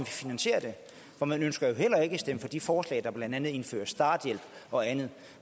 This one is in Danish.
finansiere det for man ønsker jo heller ikke at stemme for de forslag der blandt andet indfører starthjælp og andet